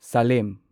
slam